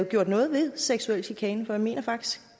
gjort noget ved seksuel chikane jeg mener faktisk